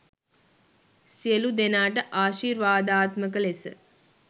සියලු දෙනාට ආශිර්වාදාත්මක ලෙස